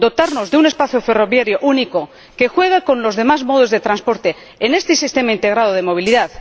dotarnos de un espacio ferroviario único que juegue con los demás modos de transporte en este sistema integrado de movilidad